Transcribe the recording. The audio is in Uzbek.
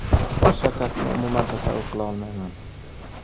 Boshqa kasbni umuman tasavvur qila olmayman.